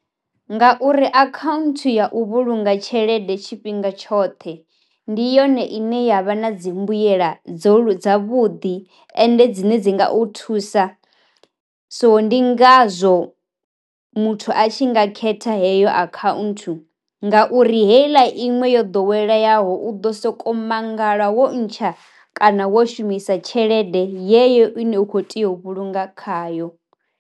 Nga uri akhaunthu ya u vhulunga tshelede tshifhinga tshoṱhe ndi yone ine yavha na dzi mbuyela dzo dza vhuḓi ende dzine dzi nga u thusa, so ndi ngazwo muthu a tshi nga khetha heyo akhaunthu ngauri heila iṅwe yo ḓoweleyaho u ḓo soko mangala wo ntsha kana wo shumisa tshelede yeyo ine u kho tea u vhulunga khayo.